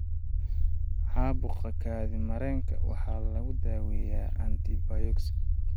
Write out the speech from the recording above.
Caabuqa kaadi mareenka waxaa lagu daaweeyaa antibiyootik.